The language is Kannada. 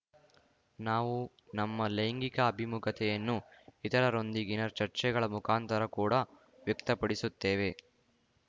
ನಾವು ನಮ್ಮ ಲೈಂಗಿಕ ಅಭಿಮುಖತೆಯನ್ನು ಇತರರೊಂದಿಗಿನ ಚರ್ಯೆಗಳ ಮುಖಾಂತರ ಕೂಡ ವ್ಯಕ್ತಪಡಿಸುತ್ತೇವೆ